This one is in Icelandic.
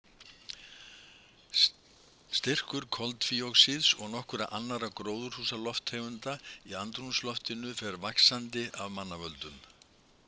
Styrkur koltvíoxíðs og nokkurra annarra gróðurhúsalofttegunda í andrúmsloftinu fer vaxandi af mannavöldum.